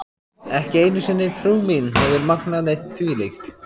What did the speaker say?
Ekki einu sinni trú mín hefur megnað neitt þvílíkt.